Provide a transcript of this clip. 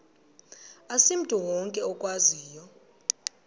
asimntu wonke okwaziyo